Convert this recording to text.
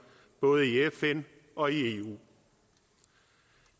både i fn og i eu